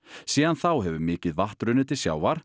síðan þá hefur mikið vatn runnið til sjávar